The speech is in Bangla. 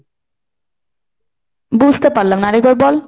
বুঝতে পারলাম না। আর একবার বল।